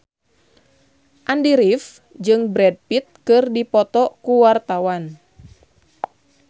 Andy rif jeung Brad Pitt keur dipoto ku wartawan